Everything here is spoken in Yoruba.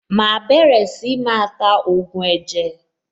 Màá bẹ̀rẹ̀ sí máa ta ògùn ẹ̀jẹ̀.